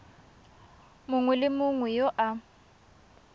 mongwe le mongwe yo a